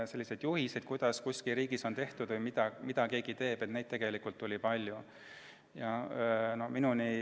Juhiseid, kuidas teistes riikides on toimitud või mida keegi teeb, oli tegelikult palju.